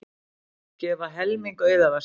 Gefa helming auðæfa sinna